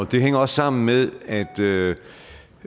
det hænger også sammen med at